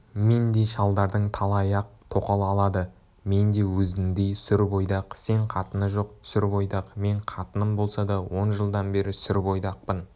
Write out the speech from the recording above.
мендей шалдардың талайы-ақ тоқал алады мен де өзіңдей сүр бойдақ сен қатыны жоқ сүр бойдақ мен қатыным болса да он жылдан бері сүр бойдақпын